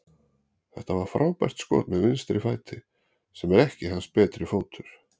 Þetta var frábært skot með vinstri fæti, sem er ekki hans betri fótur.